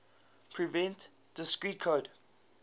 prevent discrete code